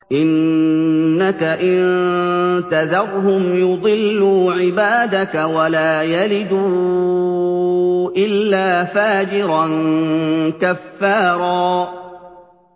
إِنَّكَ إِن تَذَرْهُمْ يُضِلُّوا عِبَادَكَ وَلَا يَلِدُوا إِلَّا فَاجِرًا كَفَّارًا